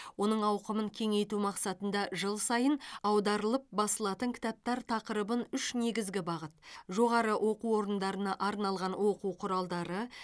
оның ауқымын кеңейту мақсатында жыл сайын аударылып басылатын кітаптар тақырыбын үш негізгі бағыт жоғары оқу орындарына арналған оқу құралдары